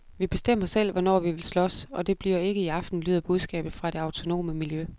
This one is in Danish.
Vi bestemmer selv, hvornår vi vil slås, og det bliver ikke i aften, lyder budskabet fra det autonome miljø.